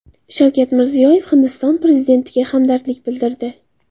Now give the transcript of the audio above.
Shavkat Mirziyoyev Hindiston prezidentiga hamdardlik bildirdi.